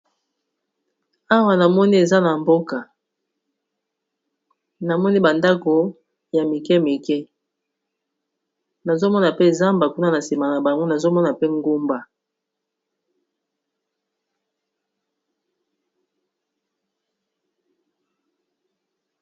Awa namoni eza na mboka namoni ba ndako ya mike mike nazomona pe zamba kuna na nsima na bango nazomona pe ngomba.